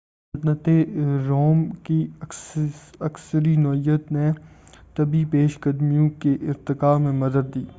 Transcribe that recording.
سلطنتِ روم کی عسکری نوعیت نے طبی پیش قدمیوں کے ارتقاء میں مدد دی